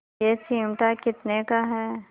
यह चिमटा कितने का है